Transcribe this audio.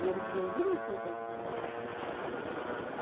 E eles iam direitinho para a escola. a